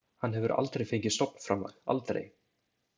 Hann hefur aldrei fengið stofnframlag, aldrei.